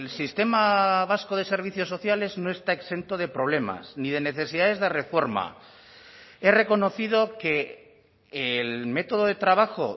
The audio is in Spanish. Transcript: sistema vasco de servicios sociales no está exento de problemas ni de necesidades de reforma he reconocido que el método de trabajo